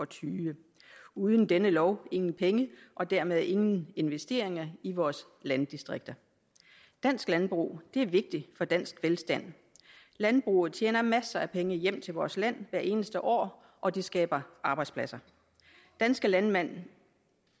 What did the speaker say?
tyve uden denne lov ingen penge og dermed ingen investeringer i vores landdistrikter dansk landbrug er vigtig for dansk velstand landbruget tjener masser af penge hjem til vores land hvert eneste år og det skaber arbejdspladser danske landmænd